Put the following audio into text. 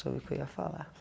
Só vi que eu ia falar.